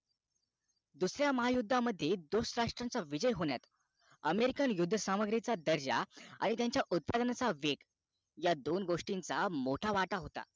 दुसऱ्या महायुद्ध मध्ये दोस्त राष्ट्राचा विजय होण्यात american युद्धसामग्रीचा दर्जा आणि त्यांच्या उत्पादनाचा वेग ह्या दोन गोष्टींचा मोठा वाट होता